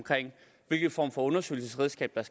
hvilken form for undersøgelsesredskab der